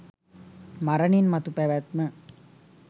මරණින් මතු පැවැත්ම